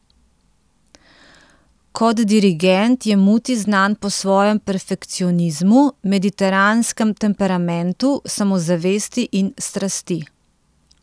Kot dirigent je Muti znan po svojem perfekcionizmu, mediteranskem temperamentu, samozavesti in strasti.